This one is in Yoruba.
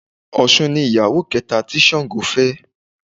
Òsun ni ìyàwó kẹta tí Sàngó fẹ́